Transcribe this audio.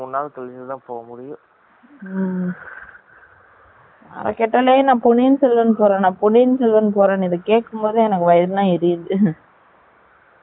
யார கேடாலும் நான் பொன்னியன் செல்வன் பொரே பொன்னியன் செல்வன் போரேன் இத கெட்டாலெ பவயிரு எல்லாம் எரியுது